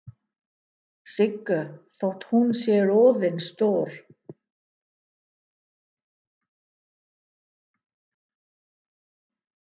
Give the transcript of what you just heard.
Siggu þótt hún sé orðin stór.